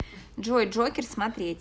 джой джокер смотреть